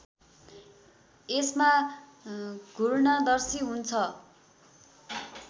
यसमा घूर्णदर्शी हुन्छ